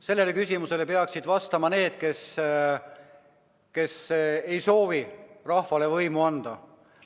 Sellele küsimusele peaksid vastama need, kes ei soovi rahvale võimu anda.